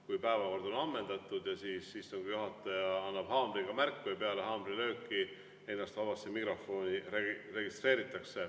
Kui päevakord on ammendatud, siis istungi juhataja annab haamriga märku ja peale haamrilööki registreeritakse ennast vabasse mikrofoni.